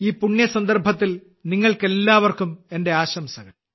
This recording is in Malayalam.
ഈ പുണ്യ സന്ദർഭത്തിൽ നിങ്ങൾക്കെല്ലാവർക്കും എന്റെ ആശംസകൾ